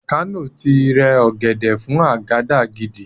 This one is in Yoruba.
Àkànó ti rẹ ọ̀gẹ̀dẹ̀ fún àgàdàgídí